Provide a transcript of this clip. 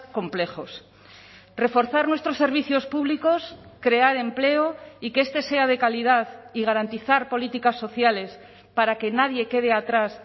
complejos reforzar nuestros servicios públicos crear empleo y que este sea de calidad y garantizar políticas sociales para que nadie quede atrás